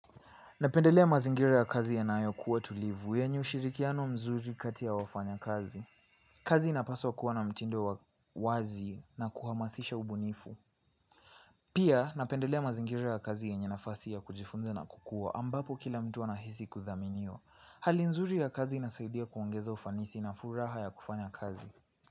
Napendelea mazingira ya kazi yanayo kuwa tulivu, yenye ushirikiano mzuri kati ya wafanya kazi. Kazi inapaswa kuwa na mtindo wazi na kuhamasisha ubunifu. Pia, napendelea mazingira ya kazi yenye nafasi ya kujifunza na kukua, ambapo kila mtu anahisi kuthaminiwa. Hali nzuri ya kazi inasaidia kuongeza ufanisi na furaha ya kufanya kazi.